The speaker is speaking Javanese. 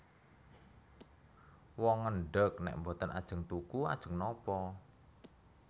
Wong ngendheg nèk boten ajeng tuku ajeng napa